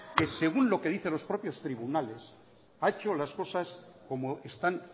que según lo que dicen los propios tribunales ha hecho las cosas como están